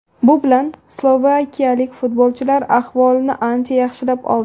Bu bilan slovakiyalik futbolchilar ahvolini ancha yaxshilab oldi.